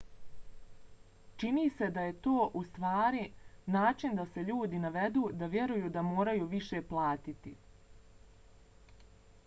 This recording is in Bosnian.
čini se da je to ustvari način da se ljudi navedu da vjeruju da moraju više platiti